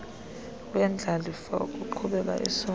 wendlalifa wokuqhuba isondla